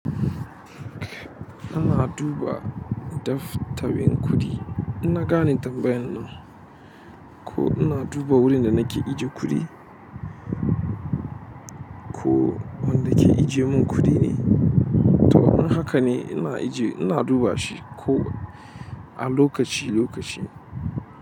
Ana duba daftarin kuɗi. Na gane tambayan nan. Ko ina duba wurin da nake ijiye kuɗi? Ko wanda ke ijiye mun kuɗi ne? Toh, in haka ne ina ajiye, ina duba shi ko a lokaci-lokaci.